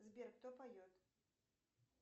сбер кто поет